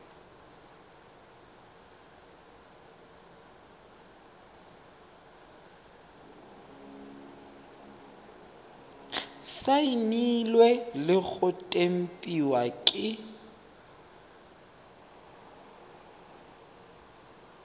saenilwe le go tempiwa ke